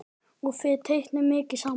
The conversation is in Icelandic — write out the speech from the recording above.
Og þið teiknið mikið saman?